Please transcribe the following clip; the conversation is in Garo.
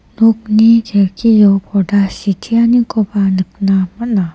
nokni kelkio porda siteanikoba nikna man·a.